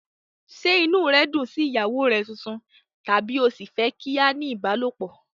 Ṣé inú rẹ dùn sí ìyàwó rẹ tuntun tàbí o ṣì fẹ́ kí a ní ìbálòpọ̀?